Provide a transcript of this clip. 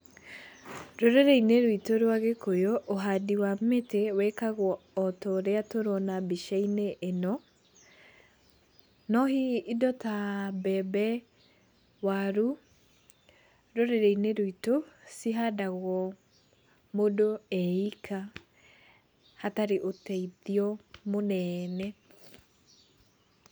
Rũrĩrĩinĩ rwitũ rwa gĩkũyũ ũhandi wa mĩtĩ wĩkagwo o torĩa tũrona mbicainĩ ĩno. No hihi indo ta mbembe, waru, rũrĩrĩinĩ rwitũ, cihandagwo mũndũ e ika hatarĩ ũteithio mũnene.